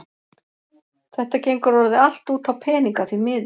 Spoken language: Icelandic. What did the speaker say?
Þetta gengur orðið allt út á peninga, því miður.